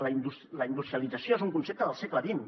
la industrialització és un concepte del segle xx